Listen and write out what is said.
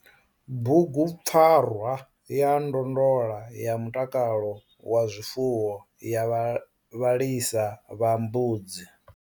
Bugupfarwa ya ndondola ya mutakalo wa zwifuwo ya vha vhalisa vha mbudzi.